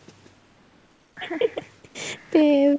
ਤੇ